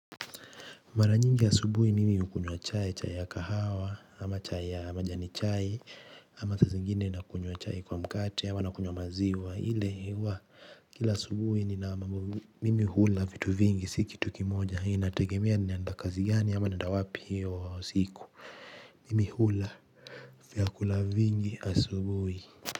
Mara nyingi asubuhi mimi hukunywa chai, chai ya kahawa, ama chai ya majani chai, ama saa zingine nakunywa chai kwa mkate, ama nakunywa maziwa, ile huwa, kila asubuhi nina mambo mimi hula vitu vingi si kitu kimoja, inategemea ninaenda kazi gani, ama naenda wapi hiyo siku, mimi hula vyakula vingi asubuhi.